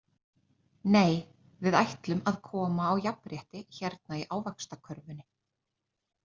Nei við ætlum að koma á jafnrétti hérna í Ávaxtakörfunni.